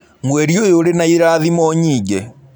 Mwerĩ ũyũ ũrĩ na ĩrathĩmo nyĩĩngĩ.